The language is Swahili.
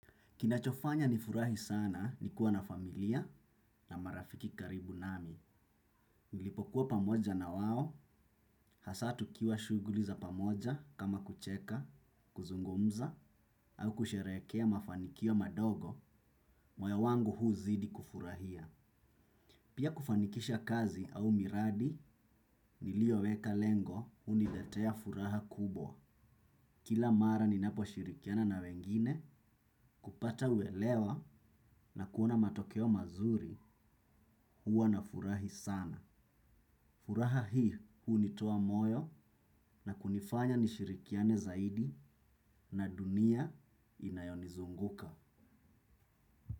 Kinachofanya nifurahi sana ni kuwa na familia na marafiki karibu nami. Nilipokuwa pamoja na wao, hasa tukiwa shuguli za pamoja kama kucheka, kuzungumza, au kusherekea mafanikio madogo, moyo wangu huu zidi kufurahia. Pia kufanikisha kazi au miradi, nilioweka lengo, huniletea furaha kubwa. Kila mara ninaposhirikiana na wengine kupata uelewa na kuona matokeo mazuri huwa nafurahi sana. Furaha hi hunitoa moyo na kunifanya nishirikiane zaidi na dunia inayonizunguka.